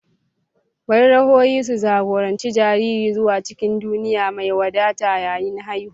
Bari ruhohi su jagoranci jariri zuwa cikin duniya mai wadata yayin haihuwa.